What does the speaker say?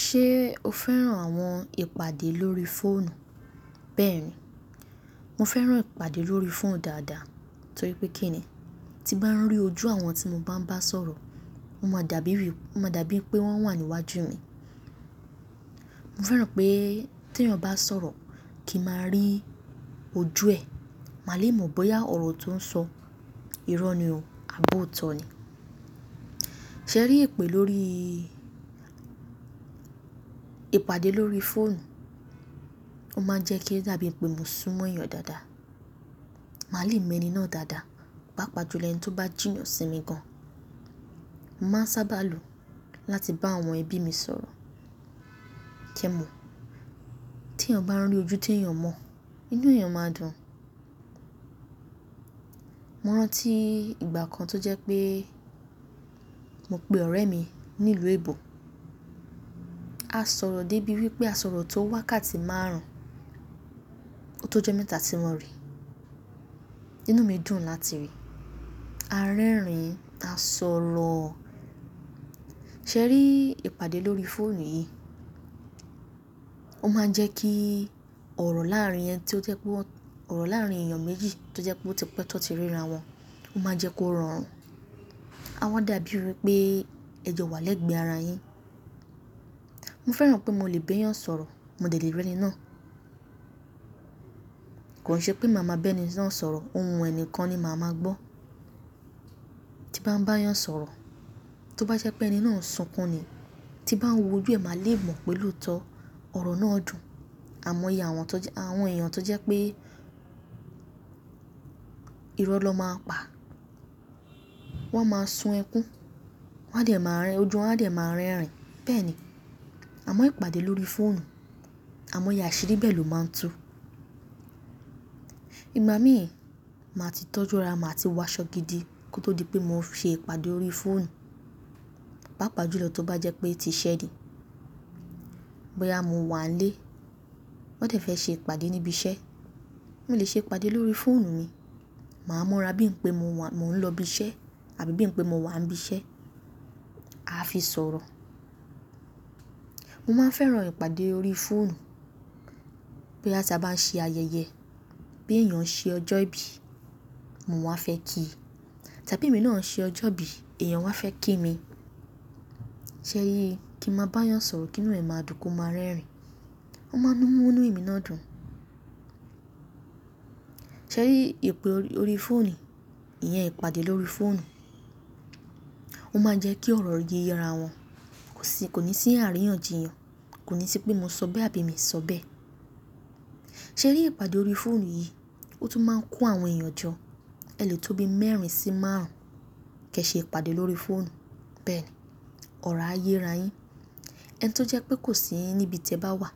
Ṣé o fẹ́ràn àwọn ìpàdé lórí fóònù? Bẹ́ẹ̀ni, mo fẹ́ràn ìpàdé lórí phone dáadáa torí pé kí ni? Tí n bá ń rí ojú àwọn tí mo bá ń bá sọ̀rọ̀, ó ma dà bí wí, ó ma dà bí wí pé wọ́n wà ní iwájú mi mo fẹ́ràn pé tí èèyàn bá sọ̀rọ̀, kí n máa rí ojú ẹ̀, màá le mọ̀ bóyá ọ̀rọ̀ tó ń sọ, irọ́ ni o àbọ́ òótọ́ ni. Sẹ ri ìpè lórí ìpàdé lórí fóònù, ó máa ń jẹ́ kí ó dàbí pé mo sún mọ́ èèyàn dáadáa. Màá le è mọ ẹni náà dáadáa, pàápàá jù lọ ẹ̀ni tí ó bá jìnnà sí mi gan. Mo máa ń sábà lò ó láti bá àwọn ẹbí mi sọ̀rọ̀. Ṣẹ mọ̀, tí èèyàn bá ń rí ojú tí èèyàn mọ̀, inú èèyàn máa dùn. Mo rántí ìgbà kan tó jẹ́ pé mo pe ọ̀rẹ́ mi nílùú Èbò, a sọ̀rọ̀ dé bí wí pé a sọ̀rọ̀ tó wá ká ti márùn-ún, tó jọ́ mẹ́ta tí wọ́n rí. Inú mi dùn láti rí, a rẹ́rìn-ín, a sọ̀rọ̀. Sẹ rí ìpàdé lórí fóònù yìí, ó máa ń jẹ́ kí ọ̀rọ̀ láàárín ẹni tí ó jẹ́ pé wọ́n, ọ̀rọ̀ láàárín èèyàn méjì tí ó jẹ́ pé ó ti pẹ́ tó ti ríra wọn, ó máa ń jẹ́ kó rọrùn. A wáa dàbí wí pé ẹ jọ wà lẹ́gbẹ̀ẹ́ ara yín. Mo fẹ́ràn pé mo lè be eyàn sọ̀rọ̀, mo dẹ lè rí ẹni náà. Kò n ṣe pé màá máa bá ẹni náà sọ̀rọ̀, ohùn ẹni kan ni màá máa gbọ́. Tí bá ń bá yan sọ̀rọ̀, tó bá jẹ́ pé ẹni náà ń sunkún ni, tí bá ń wo ojú ẹ máa le mọ̀ pé lóòótọ́ ọ̀rọ̀ náà dùn. Àmọ́ye àwọn tó jẹ́, àwọn èèyàn tó jẹ́ pé irọ́ lọ máa ń pa, wọ́n máa ń sun ẹkún, wọ́n a dẹ̀ máa ń rẹ́, ojú wọn a dẹ̀ máa ń rẹ́rìn-ín. Bẹ́ẹ̀ni, àmọ́ ìpàdé lórí fóònù, àmọ́ ìyà ṣeré bẹ́ẹ̀ lọ máa ń tu. Ìgbà mí, màá ti tọ́jú ara, màá ti wá ṣọ́ gidi kó tó di pé mo ṣe ìpàdé lórí fóònù. Pàápàá jùlọ tó bá jẹ́ pé ti iṣẹ́ ni, bóyá mo wà n lé wọn dẹ̀ fẹ́ ṣe ìpàdé ní bi iṣẹ́, mo lè ṣé ìpàdé lórí fóònù mi màá múra bí ń pé mo wà, mo ń lọ ibi iṣẹ́ àbí bí ń pé mo wà n bi iṣẹ́, a fi sọ̀rọ̀. Mo máa ń fẹ́ràn ìpàdé lórí fóònù, bóyá tí a bá ń ṣe ayẹyẹ, bí èèyàn ṣe ọjọ́ ìbí, mo wáa fẹ́ kí i. Tàbí èmi náà ṣe ọjọ́ ìbí, èèyàn wá fẹ́ kí mi. Sẹ ri, kí n máa bá yan sọ̀rọ̀ kí inú rẹ̀ máa dùn kó máa rẹ́rìn-ín. Ó máa ń mú inú èmi náà dùn. Sẹ ri ìpè lórí fóònù yìí, ìyẹn ìpàdé lórí fóònù, ó máa ń jẹ́ kí ọ̀rọ̀ yé ara wọn. Kò sí, kò ní sí àríyànjiyàn, kò ní sí pé mo sọ bẹ́ àbí mii sọ bẹ́. Sẹ ri ìpàdé lórí fóònù yìí, ó tún máa ń kó àwọn èèyàn jọ. Ẹ lè tó bí mẹ́rin sí márùn-ún kí ẹ ṣe ìpàdé lórí fóònù. Bẹ́ẹ̀ni, ọ̀rọ̀ á yé ara yín. Ẹni tí ó jẹ́ pé kò sí í níbi tí ẹ bá wà